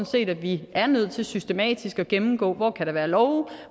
set at vi er nødt til systematisk at gennemgå hvor der kan være love